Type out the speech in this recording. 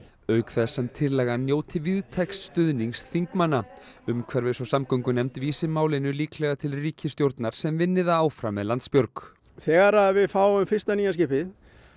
auk þess sem tillagan njóti víðtæks stuðnings þingmanna umhverfis og samgöngunefnd vísi málinu líklega til ríkisstjórnar sem vinni það áfram með Landsbjörg þegar við fáum fyrsta nýja skipið